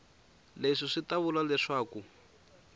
leswi swi ta vula leswaku